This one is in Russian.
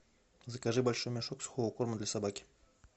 закажи большой мешок сухого корма для собаки